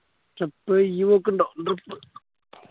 trip ഇയ്യ്‌ പോക്കിണ്ടോ